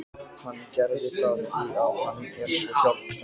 Hann gerði það því að hann er svo hjálpsamur.